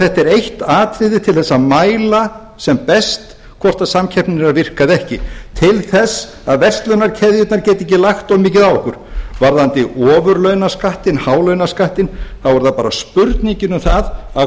þetta er eitt atriði til að mæla sem best hvort samkeppnin er að virka eða ekki til þess að verslunarkeðjurnar geti ekki lagt of mikið á okkur varðandi ofurlaunaskattinn hálaunaskattinn þá er það bara spurningin um það að